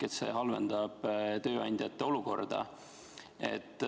See halvendab tööandjate olukorda.